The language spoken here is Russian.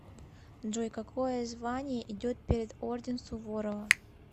джой какое звание идет перед орден суворова